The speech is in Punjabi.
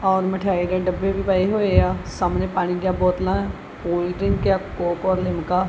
ਔਰ ਮਠਿਆਈ ਨੇ ਡੱਬੇ ਵੀ ਪਾਏ ਹੋਏ ਆ ਸਾਹਮਣੇ ਪਾਣੀ ਦੀ ਬੋਤਲਾਂ ਕੋਲਡਰਿੰਕ ਕੋਕ ਯਾ ਲਿਮਕਾ --